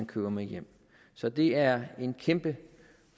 køber med hjem så det er en kæmpe